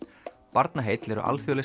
Barnaheill eru alþjóðleg